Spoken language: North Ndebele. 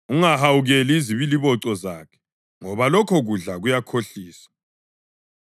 Ungahawukeli izibiliboco zakhe ngoba lokho kudla kuyakhohlisa.